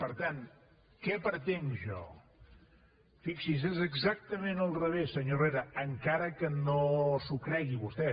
per tant què pretenc jo fixi’s és exactament al revés senyor herrera encara que no s’ho cregui vostè